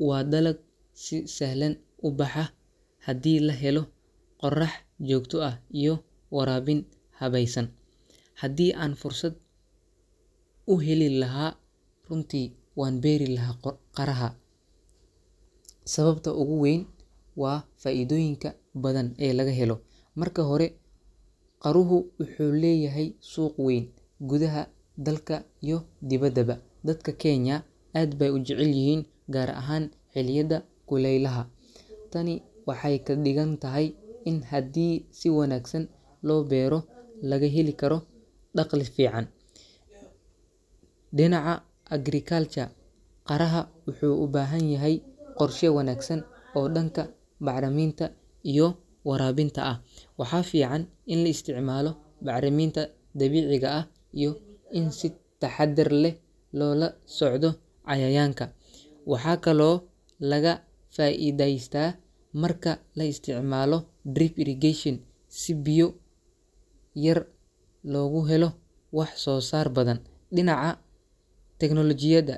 Waa dalag si sahlan u baxa haddii la helo qorrax joogto ah iyo waraabin habaysan. Haddii aan fursad u heli lahaa, runtii waan beeri lahaa qaraha. Sababta ugu weyn waa faa’iidooyinka badan ee laga helo. Marka hore, qaruhu wuxuu leeyahay suuq weyn gudaha dalka iyo dibaddaba. Dadka Kenya aad bay u jecel yihiin gaar ahaan xilliyada kulaylaha. Tani waxay ka dhigan tahay in haddii si wanaagsan loo beero, laga heli karo dakhli fiican. Dhinaca agriculture, qaraha wuxuu u baahan yahay qorshe wanaagsan oo dhanka bacriminta iyo waraabinta ah. Waxaa fiican in la isticmaalo bacriminta dabiiciga ah iyo in si taxadar leh loo la socdo cayayaanka. Waxaa kaloo laga faa’iidaystaa marka la isticmaalo drip irrigation si biyo yar loogu helo wax soo saar badan. Dhinaca teknoolojiyada.